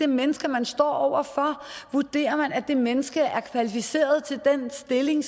menneske man står over for og vurdere om det menneske er kvalificeret til den stilling